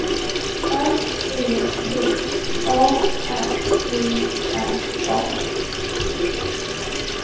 R E P A R E R A